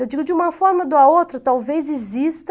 Eu digo de uma forma ou da outra, talvez exista,